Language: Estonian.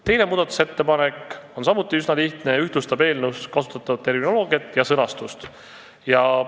Teine muudatusettepanek on samuti üsna lihtne, see ühtlustab eelnõus kasutatavat terminoloogiat ja sõnastust.